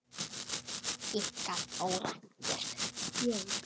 Ykkar Þóra Björk.